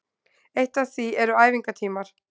Eitt af því eru æfingatímar